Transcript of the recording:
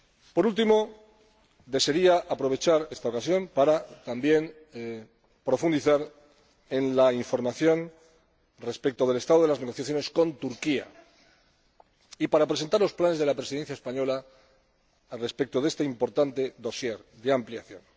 Por último, desearía aprovechar esta ocasión para profundizar también en la información respecto del estado de las negociaciones con Turquía y para presentar los planes de la Presidencia española sobre este importante dossier Ampliación.